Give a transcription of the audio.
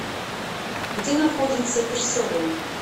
где находится персона